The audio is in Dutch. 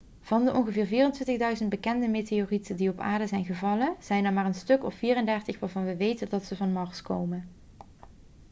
van de ongeveer 24.000 bekende meteorieten die op aarde zijn gevallen zijn er maar een stuk of 34 waarvan we weten dat ze van mars komen